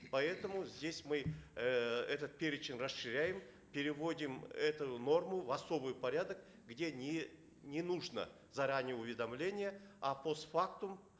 поэтому здесь мы эээ этот перечень расширяем переводим эту норму в особый порядок где не не нужно заранее уведомление а постфактум